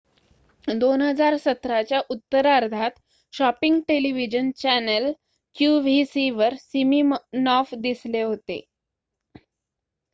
2017 च्या उत्तरार्धात shopping television channel qvc वर सिमिनॉफ दिसले होते